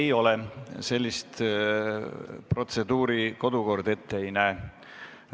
Ei ole, sellist protseduuri kodukord ette ei näe.